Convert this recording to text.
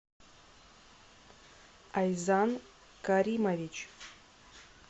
айзан каримович